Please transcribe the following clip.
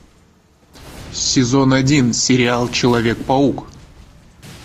сезон один сериал человек паук